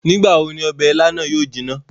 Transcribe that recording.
Nigbawo ni ọbẹ ìlà na yóò jina?